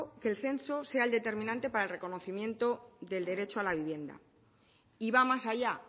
que el censo sea el determinante para el reconocimiento del derecho a la vivienda y va más allá